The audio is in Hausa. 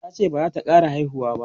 tace bazata ƙara haihuwa ba